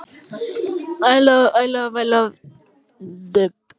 Hann sigldi í norður, sennilega á leið til Þýskalands.